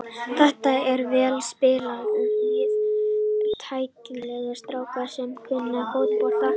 Þetta er vel spilandi lið, tæknilegir strákar sem kunna fótbolta.